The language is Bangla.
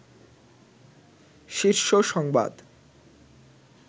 শীর্ষ সংবাদ